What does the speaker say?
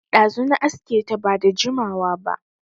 Ɗazu na aske ta, ba da jimawa ba